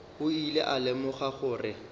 o ile a lemoga gore